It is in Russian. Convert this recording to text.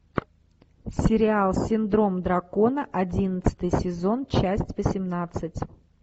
сериал синдром дракона одиннадцатый сезон часть восемнадцать